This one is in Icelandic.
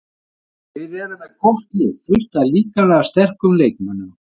Þeir eru með gott lið, fullt af líkamlega sterkum leikmönnum.